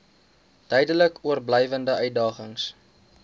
duidelik oorblywende uitdagings